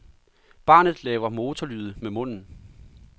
Barnet laver motorlyde med munden.